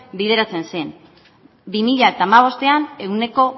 bideratzen zen bi mila hamabostean ehuneko